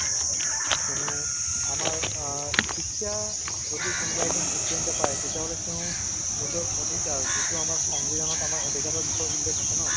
কিয়নো আমাৰ অ শিক্ষা যদি কোনোবা এজন ই student য়ে পাই তেতিয়াহ'লে তেওঁ নিজৰ অধিকাৰ যিটো আমাৰ সংবিধানত আমাৰ অধিকাৰৰ বিষয়ে উল্লেখ আছে ন